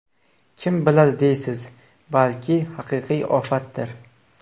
Kim biladi deysiz, balki haqiqiy ofatdir.